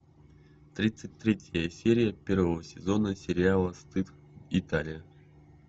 тридцать третья серия первого сезона сериала стыд италия